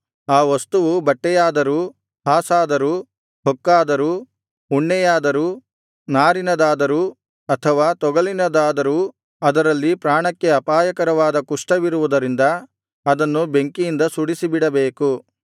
ಆ ವಸ್ತುವು ಬಟ್ಟೆಯಾದರೂ ಹಾಸಾದರೂ ಹೊಕ್ಕಾದರೂ ಉಣ್ಣೆಯದಾದರೂ ನಾರಿನದಾದರೂ ಅಥವಾ ತೊಗಲಿನದಾದರೂ ಅದರಲ್ಲಿ ಪ್ರಾಣಕ್ಕೆ ಅಪಾಯಕರವಾದ ಕುಷ್ಠವಿರುವುದರಿಂದ ಅದನ್ನು ಬೆಂಕಿಯಿಂದ ಸುಡಿಸಿಬಿಡಬೇಕು